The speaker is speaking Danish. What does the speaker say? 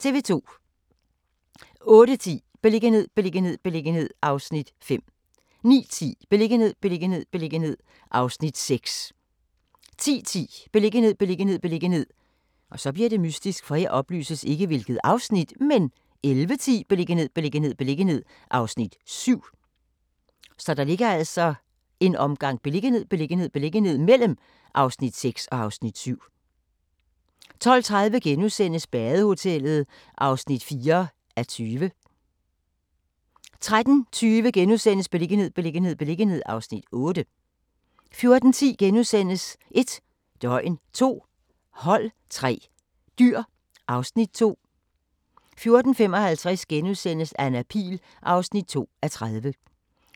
08:10: Beliggenhed, beliggenhed, beliggenhed (Afs. 5) 09:10: Beliggenhed, beliggenhed, beliggenhed (Afs. 6) 10:10: Beliggenhed, beliggenhed, beliggenhed 11:10: Beliggenhed, beliggenhed, beliggenhed (Afs. 7) 12:30: Badehotellet (4:20)* 13:20: Beliggenhed, beliggenhed, beliggenhed (Afs. 8)* 14:10: 1 døgn, 2 hold, 3 dyr (Afs. 2)* 14:55: Anna Pihl (2:30)*